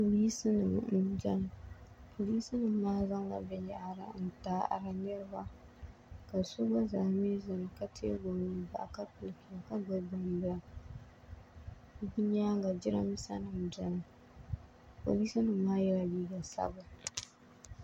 polisinima m-beni polisinima maa zaŋla binyahiri n-taɣiri niriba ka so gba zaa mi zani ka teegi o nua bahi ka pirpir ka gbubi gbambila di nyaaŋa girambiisanima benimi polisinima maa yala liiga sabila